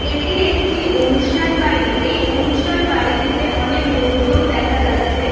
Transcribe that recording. এটি একটি অনুষ্ঠান বাড়ি। এই অনুষ্ঠান বাড়িটিতে অনেক লোকজন দেখা যাচ্ছে।